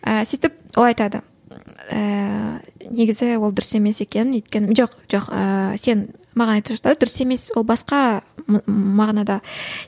і сөйтіп ол айтады ііі негізі ол дұрыс емес екен жоқ жоқ ыыы сен маған айтып жатыр дұрыс емес ол басқа мағынада